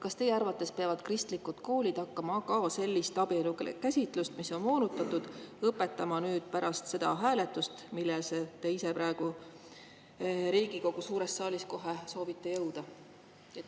Kas teie arvates peavad kristlikud koolid hakkama ka õpetama sellist abielukäsitust, mis on moonutatud, nüüd, pärast seda hääletust, milleni te praegu Riigikogu suures saalis kohe soovite jõuda?